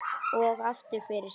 Og aftur fyrir sig.